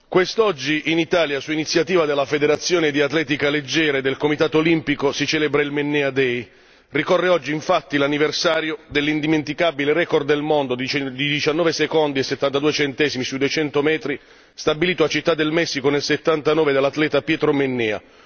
Quest'oggi in Italia, su iniziativa della Federazione di atletica leggera e del Comitato olimpico, si celebra il Mennea day ricorre oggi, infatti, l'anniversario dell'indimenticabile record del mondo di 19 secondi e 72 centesimi sui 200 metri stabilito a Città del Messico nel 1979 dall'atleta Pietro Mennea.